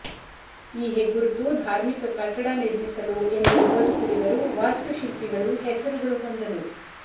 ಈ ಹೆಗ್ಗುರುತು ಧಾರ್ಮಿಕ ಕಟ್ಟಡ ನಿರ್ಮಿಸಲು ಎಂದು ಬದುಕುಳಿದರು ವಾಸ್ತುಶಿಲ್ಪಿಗಳು ಹೆಸರುಗಳು ಹೊಂದಲು